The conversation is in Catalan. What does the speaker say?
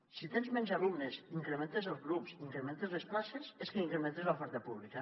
si tens menys alumnes i incrementes els grups i incrementen les places és que incrementa l’oferta pública